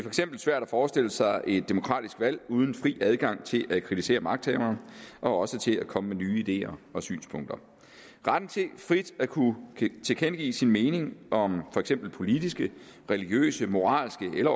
eksempel svært at forestille sig et demokratisk valg uden fri adgang til at kritisere magthaverne og også til at komme med nye ideer og synspunkter retten til frit at kunne tilkendegive sin mening om for eksempel politiske religiøse moralske eller